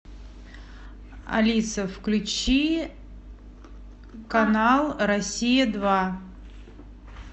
алиса включи канал россия два